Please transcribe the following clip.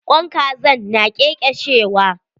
Kwain kazan na ƙeƙeshewa.